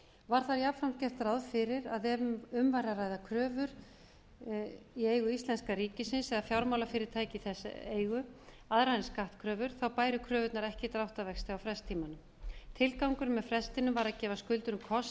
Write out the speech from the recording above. var þá jafnframt gert ráð fyrir að ef um væri að ræða kröfur í eigu íslenska ríkisins eða fjármálafyrirtæki í þess eigu aðrar en skattkröfur bæru kröfurnar ekki dráttarvexti á frest tímanum tilgangurinn með frestinum var að gefa skuldurum kost